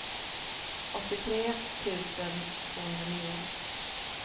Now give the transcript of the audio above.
åttiotre tusen tvåhundranio